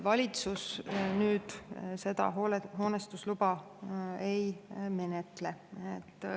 " Valitsus seda hoonestusluba ei menetle.